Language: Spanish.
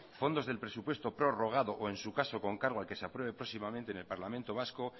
fondos del presupuesto prorrogado o en su caso con cargo al que se apruebe próximamente en el parlamento vasco